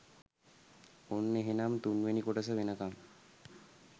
ඔන්න එහෙනම් තුන්වෙනි කොටස වෙනකන්